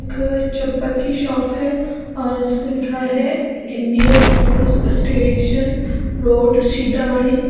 एक चप्पल की शॉप है और इसपे लिखा है India shoes station road Sitamarhi.